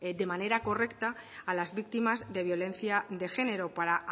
de manera correcta a las víctimas de violencia de género para